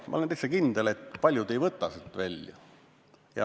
Ma olen täitsa kindel, et paljud ei võta seda välja.